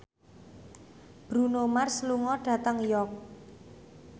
Bruno Mars lunga dhateng York